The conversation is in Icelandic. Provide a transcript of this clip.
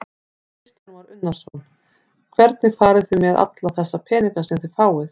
Kristján Már Unnarsson: Hvernig farið þið með alla þessa peninga sem þið fáið?